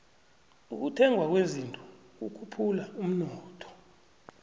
ukuthengwa kwezinto kukhuphula umnotho